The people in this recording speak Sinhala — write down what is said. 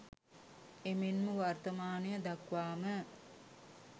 එමෙන්ම වර්තමානය දක්වාම